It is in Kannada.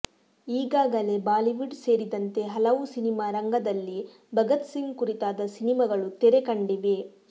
ಈಗಾಗಲೇ ಬಾಲಿವುಡ್ ಸೇರಿದಂತೆ ಹಲವು ಸಿನಿಮಾ ರಂಗದಲ್ಲಿ ಭಗತ್ ಸಿಂಗ್ ಕುರಿತಾದ ಸಿನಿಮಾಗಳು ತೆರೆಕಂಡಿವೆ